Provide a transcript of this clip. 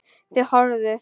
Þau horfðu.